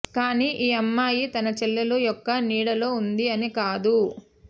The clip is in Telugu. కానీ ఈ అమ్మాయి తన చెల్లెలు యొక్క నీడ లో ఉంది అని కాదు